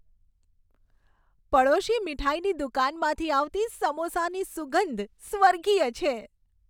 પડોશી મીઠાઈની દુકાનમાંથી આવતી સમોસાની સુગંધ સ્વર્ગીય છે.